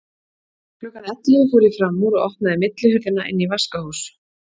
Klukkan ellefu fór ég fram úr og opnaði millihurðina inn í vaskahús.